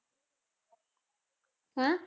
ਹੈਂ